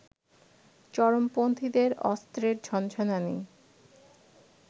চরমপন্থীদের অস্ত্রের ঝনঝনানি